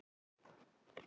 Hún heitir Harpa.